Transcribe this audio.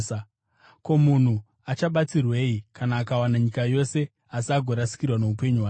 Ko, munhu achabatsirwei kana akawana nyika yose, asi agorasikirwa noupenyu hwake.